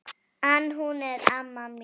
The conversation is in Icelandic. En hún er amma mín!